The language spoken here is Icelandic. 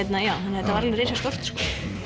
þetta var alveg risastórt sko